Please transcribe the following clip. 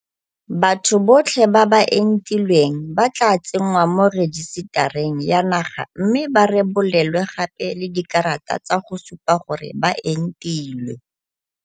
Batho botlhe ba ba entilweng ba tla tsenngwa mo rejisetareng ya naga mme ba rebolelwe gape le dikarata tsa go supa gore ba entilwe.